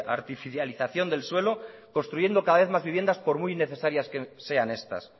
artificialización del suelo construyendo cada vez más viviendas por muy necesarias que sean estas